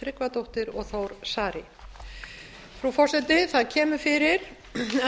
tryggvadóttir og þór saari frú forseti það kemur fyrir